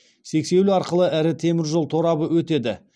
сексеуіл арқылы ірі темір жол торабы өтеді